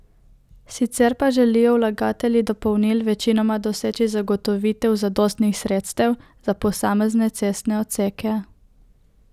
Sicer pa želijo vlagatelji dopolnil večinoma doseči zagotovitev zadostnih sredstev za posamezne cestne odseke.